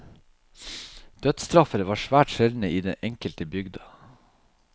Dødsstraffer var svært sjeldne i den enkelte bygda.